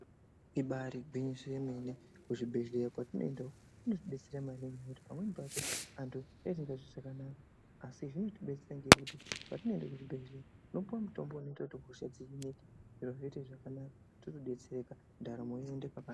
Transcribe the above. Ibarigwinyiso yemene kuzvibhedhlera kwatinoenda uku kunotibetsera maningi nekuti pamweni pacho antu asikazwi zvakanaka asi zvinotibetsera ngekuti patinoende kuzvibhedhlera tinopiwa mutombo unoita kuti hosha dzihinike totobetsereka ndaramo yoenda pakanaka .